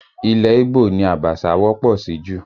Ilẹ̀ ígbò ni Abacha wọ́pọ̀ sí jù